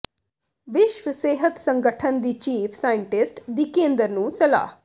ਵਿਸ਼ਵ ਸਿਹਤ ਸੰਗਠਨ ਦੀ ਚੀਫ ਸਾਇੰਟਿਸਟ ਦੀ ਕੇਂਦਰ ਨੂੰ ਸਲਾਹ